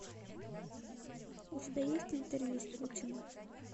у тебя есть интервью с путиным